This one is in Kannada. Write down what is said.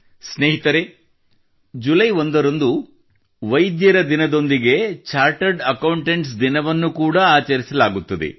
ಸ್ನೇಹಿತರೇ ಜುಲೈ ಒಂದರಂದು ವೈದ್ಯರ ದಿನದೊಂದಿಗೆ ಚಾರ್ಟರ್ಡ್ ಅಕೌಂಟೆಂಟ್ಸ್ ದಿನವನ್ನು ಕೂಡಾ ಆಚರಿಸಲಾಗುತ್ತದೆ